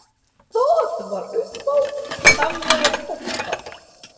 Það var upphaf samveru okkar.